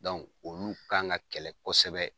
olu kan ka kɛlɛ kɔsɛbɛ.